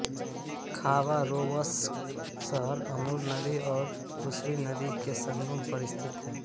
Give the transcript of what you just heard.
Khabarovsk शहर Amur नदी और उसुरी नदी के संगम पर स्थित है